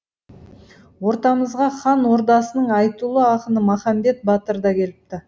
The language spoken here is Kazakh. ортамызға хан ордасының айтулы ақыны махамбет батыр да келіпті